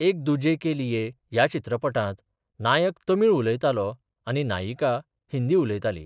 एक दुजे के लिए ह्या चित्रपटात नायक तामिळ उलयतालो आनी नायिका हिंदी उलयताली.